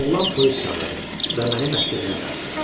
Oğlan polis çağırdı və məni məhkəməyə dartdı.